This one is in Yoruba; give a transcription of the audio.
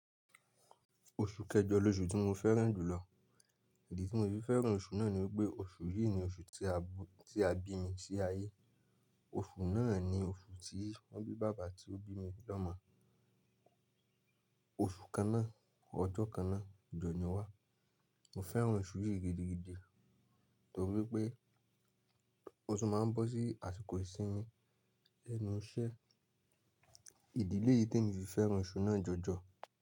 Oṣù kẹjọ l’oṣù tí mo fẹ́ràn jùlọ. Ìdí tí mo fi fẹ́ràn oṣù náà ni wípé oṣù yìí ni oṣù tí a bí mi sí ayé. Oṣù náà ni oṣù tí wọ́n bí bàbá tí ó bí mi l'ọ́mọ. Oṣù kańnà, ọjọ́ kańnà, jọ ni wá. Mo fẹ́ràn oṣù yìí gidigidi nítorí pé ótún máa ń bọ́ sí àsìkò ìsinmi lẹ́nu iṣẹ́. Ìdí lé yìí tí èmi fi fẹ́ràn oṣù náà jọjọ.